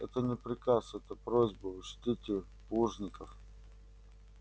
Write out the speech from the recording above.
это не приказ это просьба учтите плужников